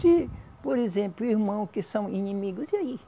Se, por exemplo, irmão que são inimigos, e aí?